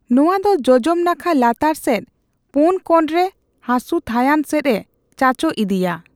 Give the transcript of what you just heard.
ᱱᱚᱣᱟ ᱫᱚ ᱡᱚᱡᱚᱢ ᱱᱟᱠᱷᱟ ᱞᱟᱛᱟᱨ ᱥᱮᱫ ᱯᱳᱱ ᱠᱚᱬᱨᱮ ᱦᱟᱥᱩ ᱛᱷᱟᱹᱭᱟᱱ ᱥᱮᱫᱼᱮ ᱪᱟᱪᱳ ᱤᱫᱤᱭᱟ ᱾